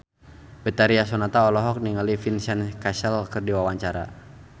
Betharia Sonata olohok ningali Vincent Cassel keur diwawancara